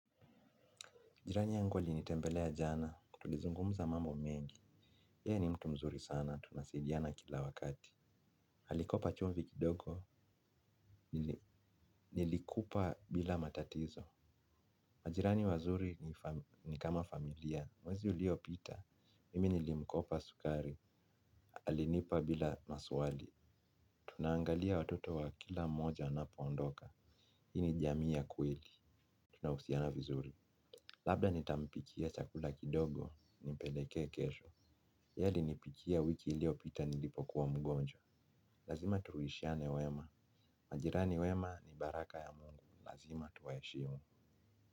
Jirani yangu alinitembelea jana, tulizungumuza mambo mengi. Yeye ni mtu mzuri sana, tunasidiana kila wakati. Alikopa chumvi kidogo, nilikupa bila matatizo. Majirani wazuri ni kama familia, mwezi uliopita. Mimi nilimkopa sukari, alinipa bila maswali. Tunaangalia watoto wa kila moja anapoondoka. Hii ni jami ya kweli, tunahusiana vizuri. Labda nitampikia chakula kidogo, nimpeleke kesho. Yaye alinipikia wiki iliyopita nilipo kuwa mgonjwa. Lazima tuwishiane wema. Majirani wema ni baraka ya mungu. Lazima tuwaheshimu.